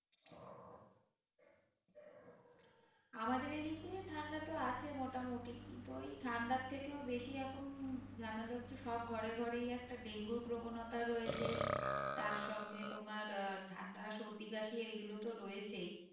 আমাদের এদিকে ঠান্ডা তো আছে মোটামুটি কিন্তু ওই ঠান্ডার থেকেও বেশি এখন ঝামেলা হচ্ছে সব ঘরে ঘরেই একটা ডেঙ্গু র প্রবণতা রয়েছে তার সঙ্গে তোমার আহ ঠান্ডা সর্দি কাশি এইগুলো তো রয়েছেই